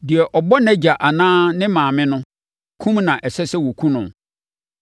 “Deɛ ɔbɔ nʼagya anaa ne maame no, kum na ɛsɛ sɛ wɔkum no.